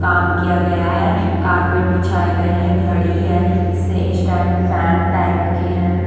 काम किया गया है कार्पेट बिछाए गए है घड़ी है से स्टैन्ड फैन टाइप के है ।